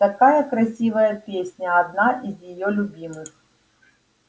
такая красивая песня одна из её любимых